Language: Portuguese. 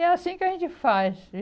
É assim que a gente faz